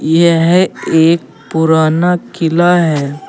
यह एक पुराना किला है।